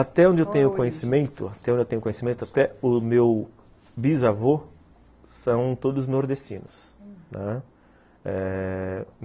Até onde eu tenho conhecimento, até onde eu tenho conhecimento, até o meu bisavô são todos nordestinos, aham, eh...